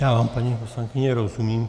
Já vám, paní poslankyně, rozumím.